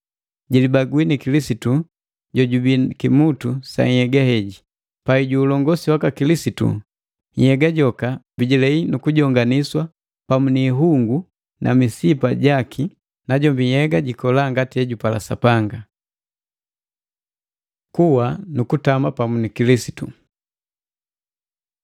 jilibangwi ni Kilisitu jojubii kimutu sa nhyega heji. Pai ju ulongosi waka Kilisitu, nhyega joka bijilea nu kujonganiswa pamu ni ihungu na misipa jaki, najombi nhyega jikola ngati ejupala Sapanga. Kuwa nu kutama pamu ni Kilisitu